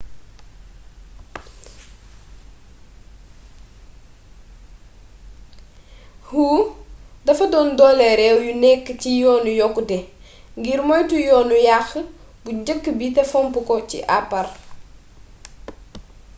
hu dafa doon dooleel réew yu nekk ci yoonu yokkute ngir moytu yoonu yaq bu njëkk bi te fomp ko ci apare